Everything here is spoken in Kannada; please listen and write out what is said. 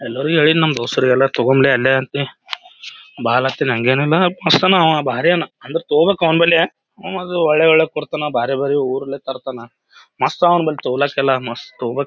ಎಲ್ಲರಿಗು ಹೇಳಿನ್‌ ನಮ್ ದೊಸ್ತರಿಗೆಲ್ಲ ತೊಗಮ್ಲೆ ಅಲ್ಲೇ ಅಂತಿ ಬಾ ಅನ್ಲತಿನ್‌ ಹಂಗೇನಿಲ್ಲ ಮಸ್ತ ಹನಾ ಅವಾ ಬಾರಿ ಅನಾ ಅಂದ್ರ ತಕೋಬೇಕ್ ಅವ್ನ ಬಲ್ಲೇ ಅವ ಒಳ್ಳೆ ಒಳ್ಳೆ ಕೊಡ್ತಾನ ಬಾರಿ ಬಾರಿ ಊರ್ಲೆ ತರ್ತನಾ ಮಸ್ತ್ ಆವನ ಬಲ್ಲಿ ಮಸ್ತ್ ತೊಗೋಬೇಕ್ .